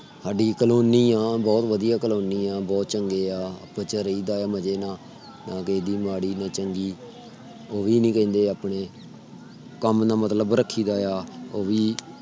ਸਾਡੀ colony ਆ ਬਹੁਤ ਵਧੀਆ colony ਆ ਬਹੁਤ ਚੰਗੀ ਆ ਰਹੀ ਦਾ ਆ ਮਜੇ ਨਾਲ ਕਿਸੇ ਦੀ ਮਾੜੀ ਨਾ ਚੰਗੀ ਉਹ ਵੀ ਨਹੀਂ ਕਹਿੰਦੇ। ਆਪਣੇ ਕਮ ਨਾਲ ਮਤਲਬ ਰੱਖੀ ਦਾ ਆ। ਉਹ ਵੀ